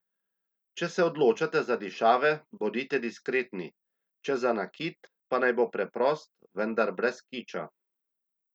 Če se odločate za dišave, bodite diskretni, če za nakit, pa naj bo preprost, vendar brez kiča.